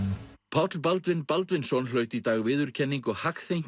Páll Baldvin Baldvinsson hlaut í dag viðurkenningu